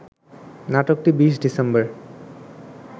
নাটকটি ২০ ডিসেম্বর